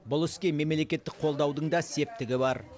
бұл іске мемлекеттік қолдаудың да септігі бар